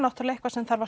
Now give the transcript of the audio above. eitthvað sem þarf að